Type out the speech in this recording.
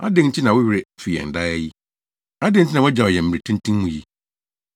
Adɛn nti na wo werɛ fi yɛn daa yi? Adɛn nti na wagyaw yɛn, mmere tenten mu yi?